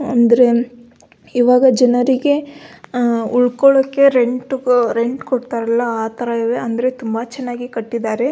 ಅಂದ್ರೆ ಈವಾಗ ಜನರಿಗೆ ಉಳ್ಕೊಳಕ್ಕೆ ರೆಂಟ್ ಅ ರೆಂಟ್ ಕೊಡ್ತಾರಲ್ಲ ಆ ತರ ಅಂದ್ರೆ ತುಂಬ ಚೆನಾಗಿ ಕಟ್ಟಿದ್ದಾರೆ.